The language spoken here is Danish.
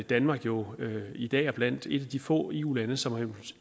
danmark jo i dag er blandt et af de få eu lande som har